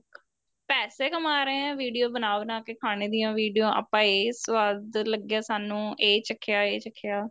ਪੈਸੇ ਕਮਾ ਰਹੇ ਏ video ਬਣਾ ਬਣਾ ਕੇ ਖਾਣੇ ਦੀਆਂ video ਆਪਾਂ ਇਹ ਸਵਾਦ ਲੱਗਿਆ ਸਾਨੂੰ ਇਹ ਚਖਿਆ ਇਹ ਚਖਿਆ